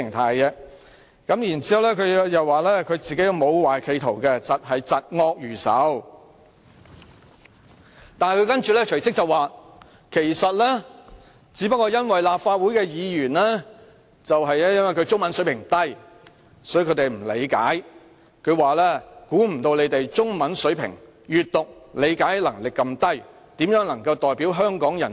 他更指自己沒有不軌企圖，只是嫉惡如仇，但他隨即又表示，只因立法會議員的中文水平低，所以不能理解這點，更說萬萬想不到議員的中文閱讀理解能力如此低，質疑他們如何擔任議員代表香港人。